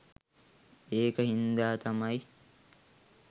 ඒක හින්ද තමයි